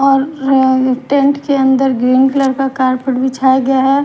और टेंट के अंदर ग्रीन कलर का कारपेट बिछाया गया है।